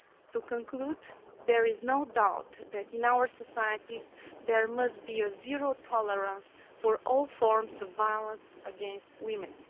To conclude, there is no doubt that in our societies, there must be zero tolerance of all forms of violence against women.